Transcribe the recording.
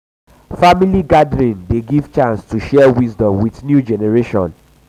family gathering dey um give chance to share wisdom with new generation.